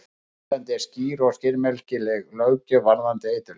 Á Íslandi er skýr og skilmerkileg löggjöf varðandi eiturlyf.